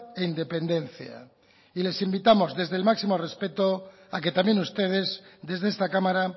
e independencia y les invitamos desde el máximo respeto a que también ustedes desde esta cámara